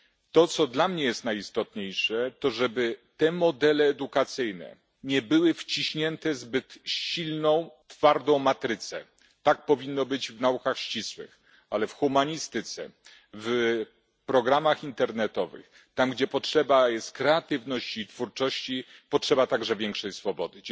To, co dla mnie jest najistotniejsze, to żeby te modele edukacyjne nie były wciśnięte w zbyt silną twardą matrycę tak powinno być w naukach ścisłych, ale w humanistyce, w programach internetowych, tam, gdzie potrzeba jest kreatywności i twórczości, potrzeba także większej swobody.